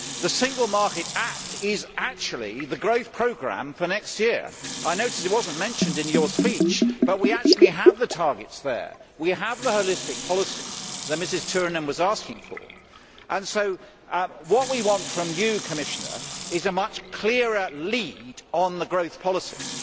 The Single Market Act is actually the growth programme for next year I notice it was not mentioned in your speech, but we have the targets there, we have the holistic policies that Ms Turunen was asking for, and so what we want from you, Commissioner, is a much clearer lead on the growth policies.